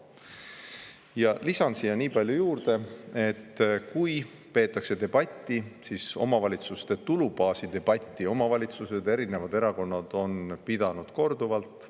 Ja lisan siia nii palju juurde, et kui peetakse debatti, siis omavalitsuste tulubaasi debatti on omavalitsused, erinevad erakonnad pidanud korduvalt.